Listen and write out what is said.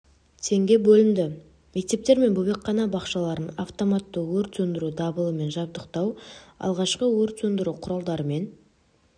теңге бөлінді мектептер мен бөбекхана бақшаларын автоматты өрт сөндіру дабылымен жабдықтау алғашқы өрт сөндіру құралдарымен